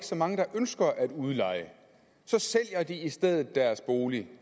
så mange der ønsker at udleje så sælger de i stedet deres bolig